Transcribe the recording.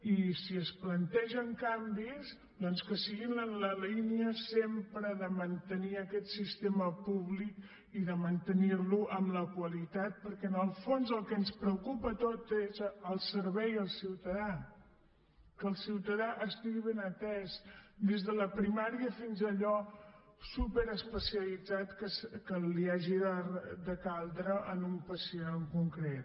i si es plantegen canvis doncs que siguin en la línia sempre de mantenir aquest sistema públic i de mantenir lo amb qualitat perquè en el fons el que ens preocupa a tots és el servei al ciutadà que el ciutadà estigui ben atès des de la primària fins a allò superespecialitzat que li hagi de caldre a un pacient en concret